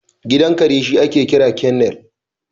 Gidan kare shi ake kira kennel